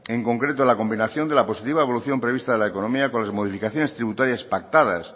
en concreto en la combinación de la positiva evolución prevista a la economía con las modificaciones tributarias pactadas